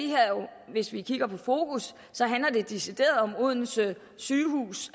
hvis vi kigger på fokus decideret om odense sygehus